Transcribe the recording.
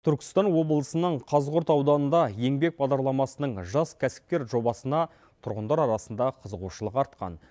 түркістан облысының қазығұрт ауданында еңбек бағдарламасының жас кәсіпкер жобасына тұрғындар арасында қызығушылық артқан